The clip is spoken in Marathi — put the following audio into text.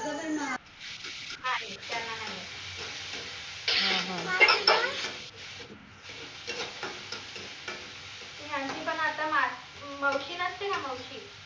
आहे त्यांना नाहीय तू म्हनशीन त आता मावशी नसते का मावशी